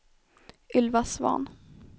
Ylva Svahn